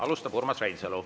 Alustab Urmas Reinsalu.